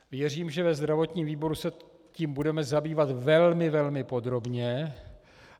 Věřím, že ve zdravotním výboru se tím budeme zabývat velmi, velmi podrobně.